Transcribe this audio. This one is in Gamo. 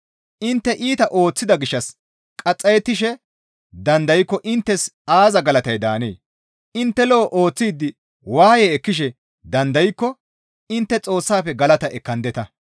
Intte iita ooththida gishshas qaxxayettishe dandaykko inttes aaza galatay daanee? Intte lo7o ooththidi waaye ekkishe dandaykko intte Xoossafe galata ekkandeta.